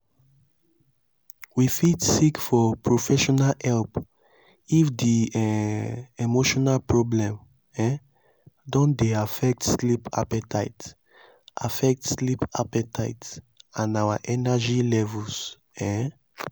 we fit seek for professional help if di um emotional problem um don dey affect sleep appetite affect sleep appetite and our energy levels um